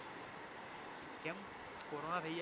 કેમ કોરોના થાય જાય